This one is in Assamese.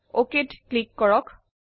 অক ক্লিক কৰক